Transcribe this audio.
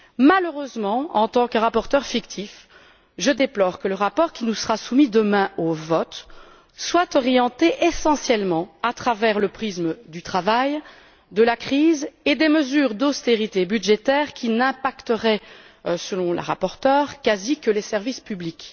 Malheureusement, en tant que rapporteure fictive, je déplore que le rapport qui nous sera soumis demain au vote se lise essentiellement à travers le prisme du travail, de la crise et des mesures d'austérité budgétaire qui ne toucheraient quasiment, selon la rapporteure, que les services publics.